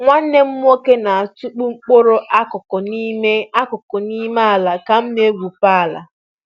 Nwanne m nwoke na-atụkpu mkpụrụ akụkụ n'ime akụkụ n'ime ala ka m na-egwupe ala